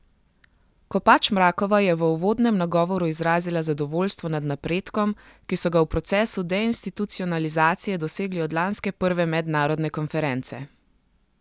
Kopač Mrakova je v uvodnem nagovoru izrazila zadovoljstvo nad napredkom, ki so ga v procesu deinstitucionalizacije dosegli od lanske prve mednarodne konference.